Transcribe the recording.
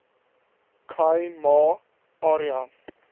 khai ma area